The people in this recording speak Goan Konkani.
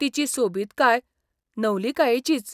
तिची सोबितकाय नवलिकायेचीच.